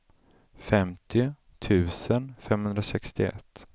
femtio tusen femhundrasextioett